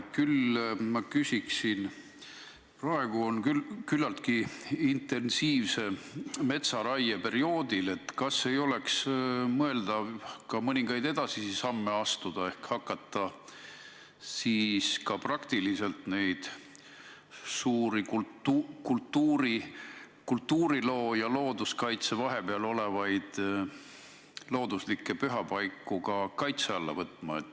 Ma küsin aga praegusel küllaltki intensiivse metsaraie perioodil, kas ei oleks mõeldav mõningaid edasisi samme astuda ja hakata suuri kultuuriloolise ja looduskaitse vahepeale jäävaid looduslikke pühapaiku ka kaitse alla võtma.